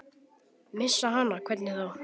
Missa hana, hvernig þá?